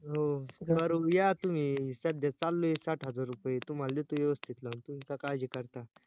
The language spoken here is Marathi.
हो करू या तुम्ही सध्या चाललंय साठ हजार रुपये, तुम्हाला देतो व्यवस्तीत लावून तुम्ही का काळजी करता